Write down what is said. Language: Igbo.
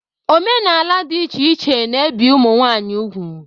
Omenala dị iche iche na ebi ụmụ nwanyị ugwu.